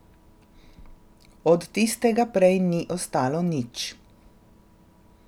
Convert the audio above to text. Od tistega prej ni ostalo nič.